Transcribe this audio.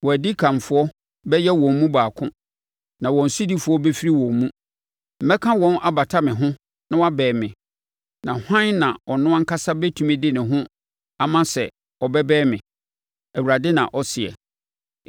Wɔn adikanfoɔ bɛyɛ wɔn mu baako; na wɔn sodifoɔ bɛfiri wɔn mu. Mɛka no abata me ho na wabɛn me, na hwan na ɔno ankasa bɛtumi de ne ho ama sɛ ɔbɛbɛn me?’ Awurade na ɔseɛ.